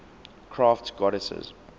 crafts goddesses